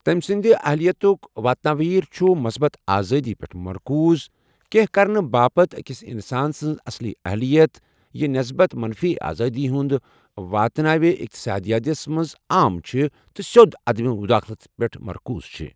تمہِ سُند اہلِیتُك واتناویر چھُ مُصبت آزٲدی پیٹھ مركوُز، كینہہ كرنہٕ باپتھ اكِس اِنسان سٕنز اصلی اہلِیت ، یہِ نٮ۪سبت منفی آزٲدی ہندِ واتناوِ ، اِقتصٲدِیاتس منز عام چھِ تہٕ سیود عدم مُداخلتس پیٹھ مركوُز چھِ ۔